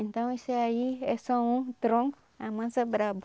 Então isso aí é só um tronco, a mansa brava.